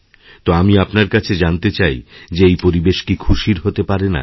তো আমি আপনার কাছে জানতে চাই যে এই পরিবেশ কি খুশির হতে পারে না